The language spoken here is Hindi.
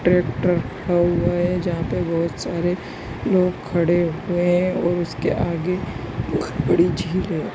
ट्रेक्टर खड़ा हुआ है जहाँ पे बहुत सारे लोग खड़े हुए हैं और उसके आगे पोख बड़ी झील है।